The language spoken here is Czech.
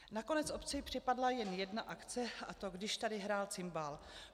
'Nakonec obci připadla jen jedna akce, a to Když tady hrál cimbál.